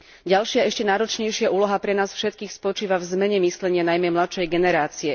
Ďalšia, ešte náročnejšia úloha pre nás všetkých spočíva v zmene myslenia najmä mladšej generácie.